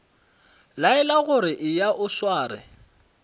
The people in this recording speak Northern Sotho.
laelwa gore eya o sware